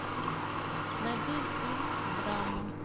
найди фильм драма